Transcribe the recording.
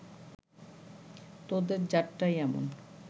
তোদের জাতটাই এমন